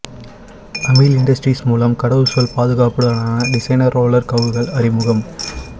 amyl industries மூலம் கடவுசொல் பாதுகாப்புடனான டிசைனர் ரோலர் கவுகள் அறிமுகம்